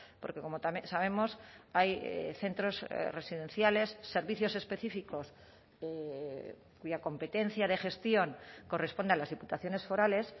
porque como también sabemos hay centros residenciales servicios específicos cuya competencia de gestión corresponde a las diputaciones forales